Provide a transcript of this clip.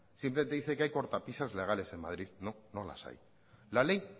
simplemente dice que hay cortapisas legales en madrid no no las hay la ley